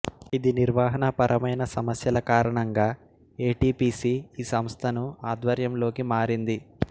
ఇది నిర్వహణాపరమైన సమస్యల కారణంగా ఏ టి పిసి ఈ సంస్థను ఆధ్వర్యంలోకి మారింది